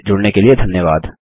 हमसे जुड़ने के लिए धन्यवाद